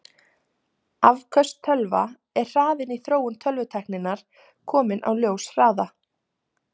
Afköst tölva Er hraðinn í þróun tölvutækninnar kominn á ljóshraða?